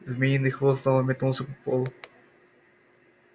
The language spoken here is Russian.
змеиный хвост снова метнулся по полу